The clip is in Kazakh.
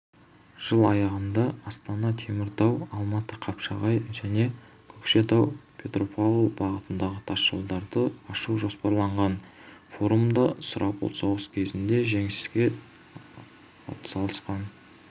жыл аяғында астана-теміртау алматы-қапшағай және көкшетау-петропавл бағытындағы тасжолдарды ашу жоспарланған форумда сұрапыл соғыс кезінде жеңіске атсалысқан